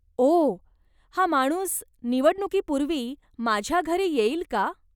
ओह, हा माणूस निवडणुकीपूर्वी माझ्या घरी येईल का?